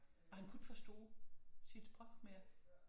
Han kunne ikke forstå sit sprog mere